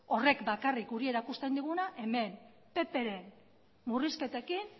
horrek bakarrik guri erakusten diguna hemen ppren murrizketekin